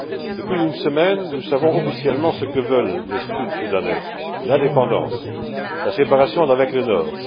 Depuis une semaine, nous savons officiellement ce que veulent les Sud Soudanais l'indépendance, la séparation d'avec le Nord.